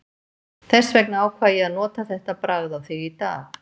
Þess vegna ákvað ég að nota þetta bragð á þig í dag.